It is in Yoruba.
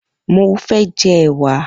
Mo fẹ́ jẹ ẹ̀wà